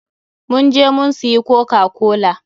mun je mun suyi kokakola.